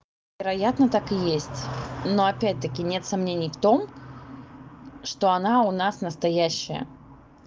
вероятно так и есть но опять-таки нет сомнений в том что она у нас настоящая